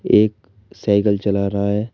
एक साइकिल चला रहा है।